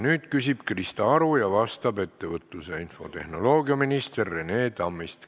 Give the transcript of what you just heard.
Nüüd küsib Krista Aru ja vastab ettevõtlus- ja infotehnoloogiaminister Rene Tammist.